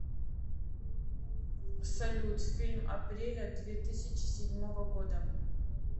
салют фильм апреля две тысячи седьмого года